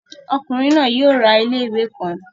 Ọkunrin naa yoo ra ile-iwe kan